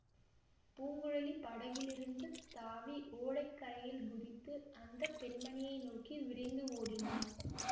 பூங்குழலி படகிலிருந்து தாவி ஓடை கரையில் குதித்து அந்த பெண்மணியை நோக்கி விரைந்து ஓடினாள்